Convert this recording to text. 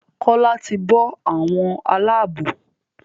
Kola tí bó àwọn Àlàabò.